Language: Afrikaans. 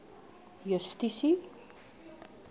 justisie